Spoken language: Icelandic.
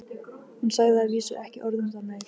Hún sagði að vísu ekki orð um það meir.